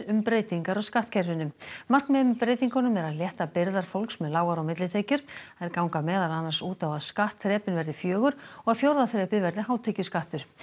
um breytingar á skattkerfinu markmiðið með breytingunum er að létta byrðar fólks með lágar og millitekjur þær ganga meðal annars út á að skattþrepin verði fjögur og að fjórða þrepið verði hátekjuskattur